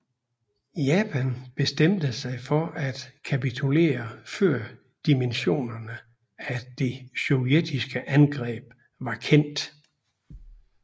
Japan bestemte sig for at kapitulere før dimensionerne af det sovjetiske angreb var kendt